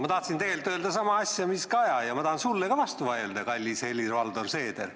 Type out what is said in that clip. Ma tahtsin öelda sedasama asja mis Kaja ja ma tahan sulle ka vastu vaielda, kallis Helir-Valdor Seeder.